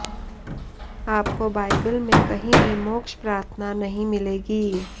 आपको बाइबल में कहीं भी मोक्ष प्रार्थना नहीं मिलेगी